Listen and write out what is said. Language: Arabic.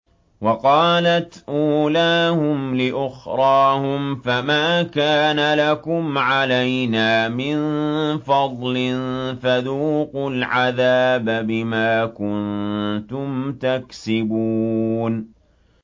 وَقَالَتْ أُولَاهُمْ لِأُخْرَاهُمْ فَمَا كَانَ لَكُمْ عَلَيْنَا مِن فَضْلٍ فَذُوقُوا الْعَذَابَ بِمَا كُنتُمْ تَكْسِبُونَ